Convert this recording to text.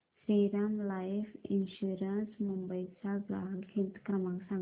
Shriram life insurance Mumbai चा ग्राहक हित क्रमांक सांगा